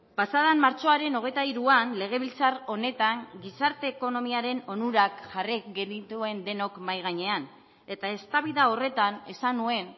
pasa den martxoaren hogeita hiruan legebiltzar honetan gizarte ekonomiaren onurak jarri genituen denok mahai gainean eta eztabaida horretan esan nuen